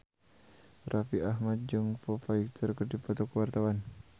Raffi Ahmad jeung Foo Fighter keur dipoto ku wartawan